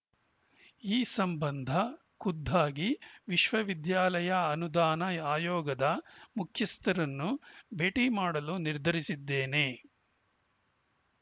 ಈ ಸಂಬಂಧ ಖುದ್ದಾಗಿ ವಿಶ್ವವಿದ್ಯಾಲಯ ಅನುದಾನ ಆಯೋಗದ ಮುಖ್ಯಸ್ಥರನ್ನು ಭೇಟಿ ಮಾಡಲು ನಿರ್ಧರಿಸಿದ್ದೇನೆ